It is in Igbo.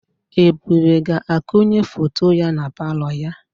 Ebube ga-ekonye foto ya na palọ ya.